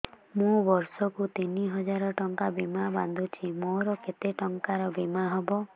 ମୁ ବର୍ଷ କୁ ତିନି ହଜାର ଟଙ୍କା ବୀମା ବାନ୍ଧୁଛି ମୋର କେତେ ଟଙ୍କାର ବୀମା ହବ